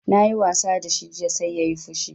Na yi wasa da shi jiya sai yayi fushi